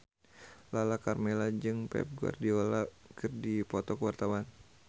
Lala Karmela jeung Pep Guardiola keur dipoto ku wartawan